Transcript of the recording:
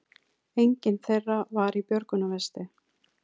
Enginn þeirra var í björgunarvesti